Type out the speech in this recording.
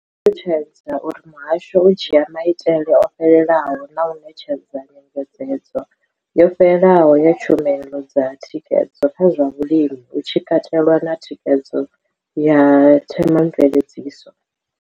Vho ṱalutshedza uri muhasho u dzhia maitele o fhelelaho na u ṋetshedza nyengedzedzo yo fhelelaho ya tshumelo dza thikhedzo kha zwa vhulimi, hu tshi katelwa na thikhedzo ya Thema mveledziso.